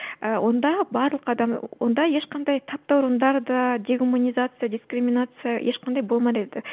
ыыы онда барлық адам онда ешқандай таптауындар да дегуманизация дискриминация ешқандай еді